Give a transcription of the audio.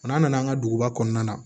n'an nana an ka duguba kɔnɔna na